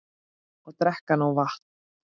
Og drekka nóg vatn.